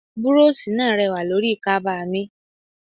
Búróóṣì náà rẹwà lórí kaba mi.